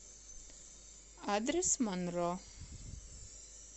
адрес монро